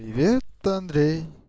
привет андрей